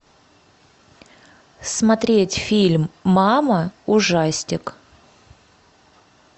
смотреть фильм мама ужастик